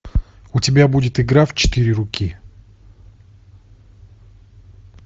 у тебя будет игра в четыре руки